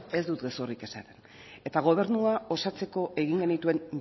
ez dut gezurrik esaten eta gobernua osatzeko egin genituen